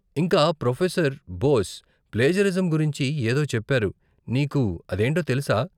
ఇంకా professor Bose plagiarism గురించి ఏదో చెప్పారు, నీకు అదేంటో తెలుసా?